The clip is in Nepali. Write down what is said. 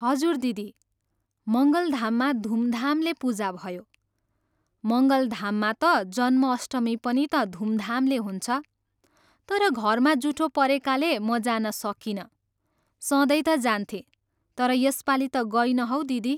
हजुर दिदी, मङ्गलधाममा धुमधामले पूजा भयो। मङ्गलधाममा त जन्म अष्टमी पनि त धुमधामले हुन्छ। तर घरमा जुठो परेकाले म जान सकिनँ। सधैँ त जान्थेँ, तर यसपालि त गइनँ हौ दिदी!